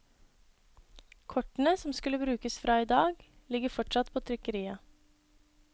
Kortene som skulle brukes fra i dag, ligger fortsatt på trykkeriet.